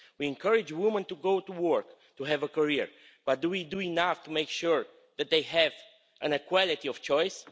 We encourage women to go to work, to have a career, but do we do enough to make sure that they have equality of choice?